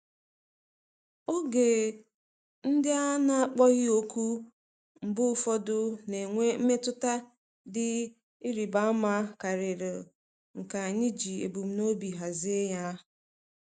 Oge ndị a na-akpọghị òkù mgbe ụfọdụ na-enwe mmetụta dị ịrịba ama karịa nke anyị ji ebumnobi hazie ya.